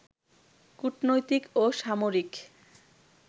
কূটনৈতিক ও সামরিক